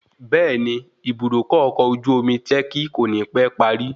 Bẹẹni, Ibùdókọ̀ ọkọ̀ ojú omi ti lẹ́kí kò ní pẹ́ parí